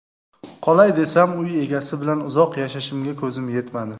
Qolay desam, uy egasi bilan uzoq yashashimga ko‘zim yetmadi.